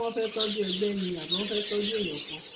ṣé wọn fẹẹ tọjú ègbé ni àbí wọn fẹẹ tọjú èèyàn kan